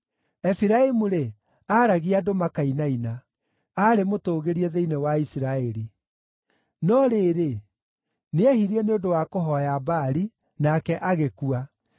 Efiraimu-rĩ, aaragia andũ makainaina; aarĩ mũtũgĩrie thĩinĩ wa Isiraeli. No rĩrĩ, nĩehirie nĩ ũndũ wa kũhooya Baali, nake agĩkua.